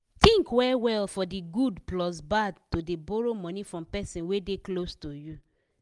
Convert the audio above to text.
think well well for de good plus bad to dey borrow money from person wey dey close to you.